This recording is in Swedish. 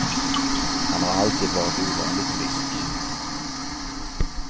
Han har alltid varit ovanligt frisk.